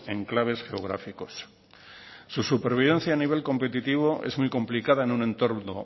enclaves geográficos su supervivencia a nivel competitivo es muy complicada en un entorno